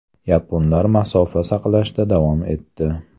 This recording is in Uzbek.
Yaponlar masofa saqlashda davom etdi.